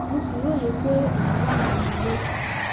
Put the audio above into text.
mo sì róye pé èèyàn wà nínú ilé